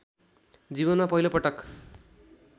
जीवनमा पहिलोपटक